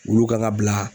Olu kan ka bila